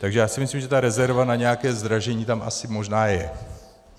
Takže já si myslím, že ta rezerva na nějaké zdražení tam asi možná je.